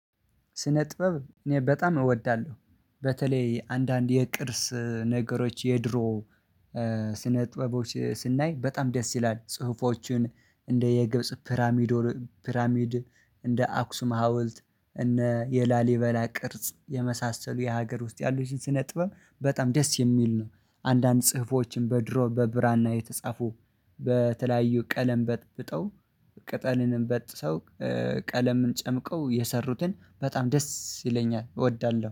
ስነ ጥበብ እኔ በጣም እወዳለሁ። በተለይ አንዳንድ የቅርስ ነገሮች የድሮ ጥበቦች ስናይ በጣም ደስ ይላል፤ ጽሁፎችን እንደ የግብጽ ፒራሚድ፤ እንደ አክሱም ሀውልት፤ እነ የላሊበላ ቅርጽ፤ የመሳሰሉ የሀገር ውስጥ ያሉት ሲነጥበብ በጣም ደስ የሚል ነው፤ አንዳንድ ጽሁፎችን በድሮ በብራና የተጻፉ በተለያዩ ቀለም በጠብጠው ቅጠልንም በጥሰው ቀለምን ጨምቀው የሰሩትን በጣም ደስ ይለኛል እወዳለሁ።